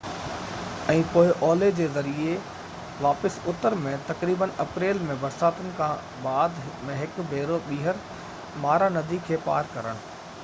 ۽ پوء اولهه جي ذريعي واپس اتر ۾ تقريبن اپريل ۾ برساتن کان بعد ۾ هڪ ڀيرو ٻيهر مارا ندي کي پار ڪرڻ